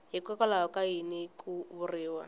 hikwalaho ka yini ku vuriwa